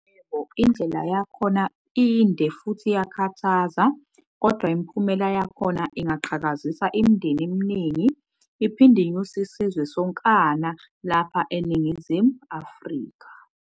Yebo indlela yakhona inde futhiiyakhathaza kodwa imiphumela yakhona ingaqhakazisa imindeni eminingi iphinde inyuse isizwe sonkana lapha eNingizimu Africa.